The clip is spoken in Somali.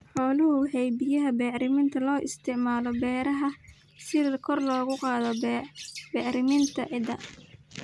Xooluhu waxay bixiyaan bacriminta loo isticmaalo beeraha si kor loogu qaado bacriminta ciidda.